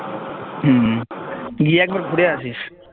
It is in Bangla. হম গিয়ে একবার ঘুরে আসিস